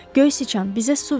Göy sıçan, bizə su ver!